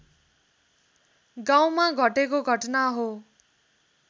गाउँमा घटेको घटना हो